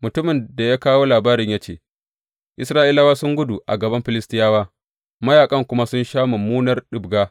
Mutumin da ya kawo labarin ya ce, Isra’ilawa sun gudu a gaban Filistiyawa, mayaƙan kuma sun sha mummunar ɗibga.